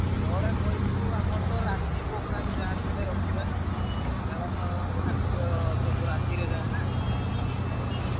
କେତବେଳେ କହିବୁ ଆମର ତ ରାତି program ଯାହାବି ହେଲେ ରଖିବା କାରଣ ମେଳଣ ଠାକୁର ସବୁ ରାତିକି ଯାଏ ନାଁ